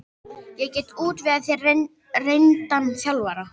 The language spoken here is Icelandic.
Ég get útvegað þér reyndan þjálfara.